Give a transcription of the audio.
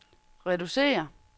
reducere